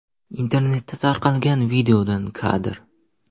Internetda tarqalgan videodan kadr.